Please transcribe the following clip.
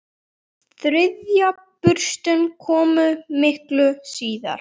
Þriðja burstin kom miklu síðar.